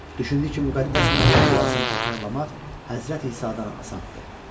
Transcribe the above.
Düşündü ki, Müqəddəs Məryəm duasını təkrarlamaq Həzrəti İsadan asandır.